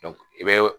i bɛ